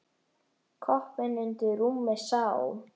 Koppinn undir rúmi sá.